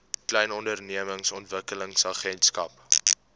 klein ondernemings ontwikkelingsagentskap